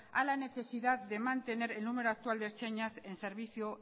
a la necesidad de mantener el número actual de ertzainas en servicio